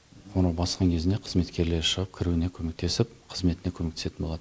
оны басқан кезінде қызметкерлер шығып кіруіне көмектесіп қызметіне көмектесетін болады